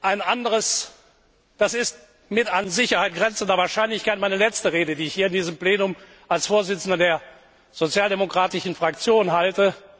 Ein anderes Das ist mit an Sicherheit grenzender Wahrscheinlichkeit meine letzte Rede, die ich hier in diesem Plenum als Vorsitzender der Sozialdemokratischen Fraktion halte.